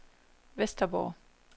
Vesterborg